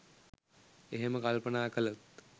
එහෙම කල්පනා කළොත්